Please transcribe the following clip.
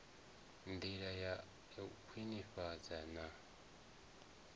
ndila ya u khwinifhadza na